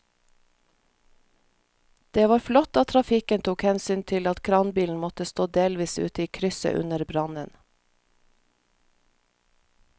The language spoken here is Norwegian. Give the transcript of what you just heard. Det var flott at trafikken tok hensyn til at kranbilen måtte stå delvis ute i krysset under brannen.